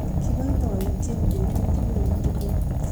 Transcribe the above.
Kibaibaitynchini betut neo tugul